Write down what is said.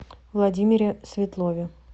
владимире светлове